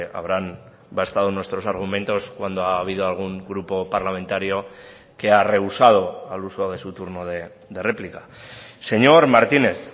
habrán bastado nuestros argumentos cuando ha habido algún grupo parlamentario que ha reusado al uso de su turno de réplica señor martínez